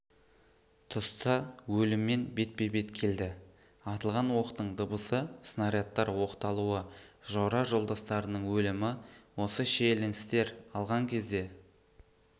тұста өліммен бетпе-бет келді атылған оқтың дыбысы снарядтар оқталуы жора-жолдастарының өлімі осы шиеленістер алған кезде